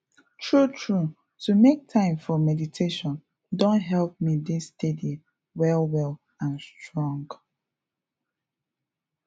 true true to make time for meditation don help me dey steady well well and strong